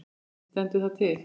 Sindri: Stendur það til?